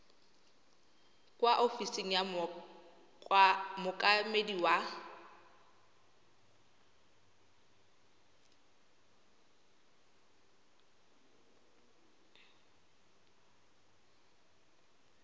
kwa ofising ya mookamedi wa